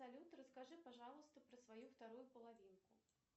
салют расскажи пожалуйста про свою вторую половинку